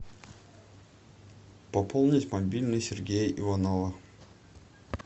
пополнить мобильный сергея иванова